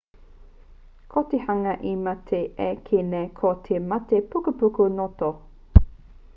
ko te hanga i mate ai i kī nei ko te mate pukupuku ngoto